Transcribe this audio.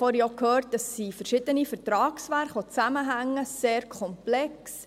Wir hörten vorhin, dass verschiedene Vertragswerke zusammenhängen, sehr komplex.